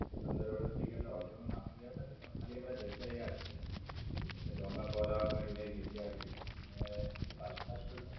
પંદર વરસ થી જે આ હોટેલ નું નામ તો યાદ નથી પણ ખાલી મને જગ્યા યાદ છે. એક ડોનાપોલા કરીને એક જગ્યા હતી. અને એની બાજુ માં જ કોઈ હોટેલ